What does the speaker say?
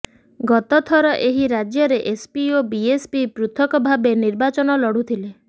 ଗତଥର ଏହି ରାଜ୍ୟରେ ଏସ୍ପି ଓ ବିଏସ୍ପି ପୃଥକଭାବେ ନିର୍ବାଚନ ଲଢୁଥିଲେ